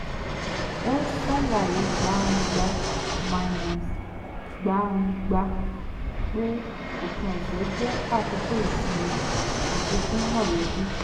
ó ṣàlàyé gbangba-gbàngba pé òpin ọ̀sẹ̀ jẹ́ àkókò ìsinmi àti fún mọ̀lẹ́bí